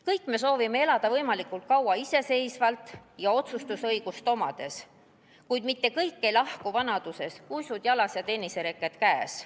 Kõik me soovime elada võimalikult kaua iseseisvalt ja otsustusõigust omades, kuid mitte kõik ei lahku vanaduses, uisud jalas ja tennisereket käes.